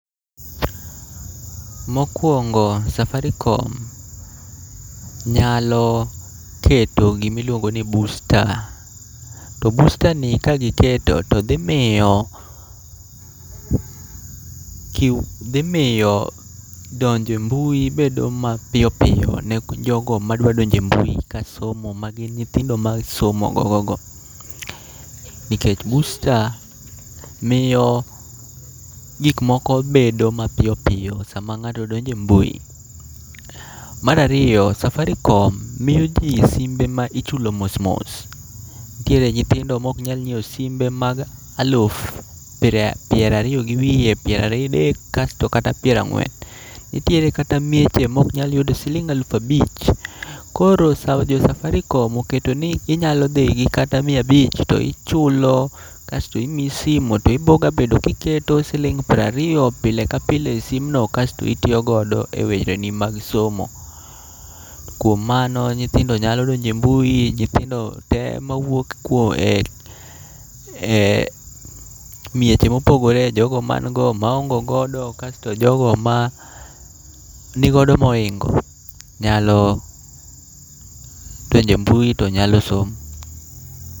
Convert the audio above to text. Mokwongo Safaricom nyalo keto gimiluongo ni busta, to bustani ka giketo to dhimiyo, dhimiyo donje mbui bedo mapiyo piyo ne jogo madwa donje mbui ka somo ma gin nyithindo ma somo gogogo. Nikech busta miyo gikmoko bedo mapiyo piyo sama ng'ato donje mbui. Marariyo, Safaricom miyo ji simbe ma ichulo mos mos. Nitiere nyithindo mok nyal nyiewo simbe mak aluf pira, pierariyo gi wiye, pieradek kasto kata pirang'wen. Nitiere kata mieche moknyal yudo siling' alufabich, koro jo Safaricom oketo ni niyalo dhi gi kata miya abich to ichulo kasto imiyi simo. To ibo ga bet kiketo siling' prariyo pile ka pile e sim no kasto itiyo godo e wecheni mag somo. Kuom mano nyithindo nyalo donje mbui, nyithindo te mawuok kuo, e e mieche mopogore, jogo man go, maonge godo kasto jogo ma nigodo moingo nyalo donje mbui to nyalo somo.